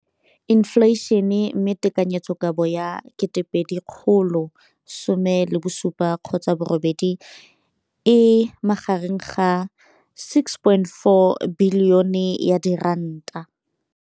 Infleišene, mme tekanyetsokabo ya 2017, 18, e magareng ga R6.4 bilione.